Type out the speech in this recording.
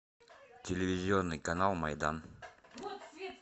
телевизионный канал майдан